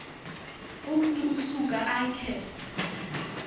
umntu usuka akhe